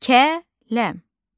Kə, ləm.